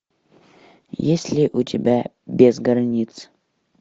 есть ли у тебя без границ